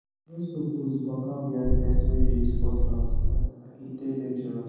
you no suppose waka behind person wey dey use cutlass—e dey dangerous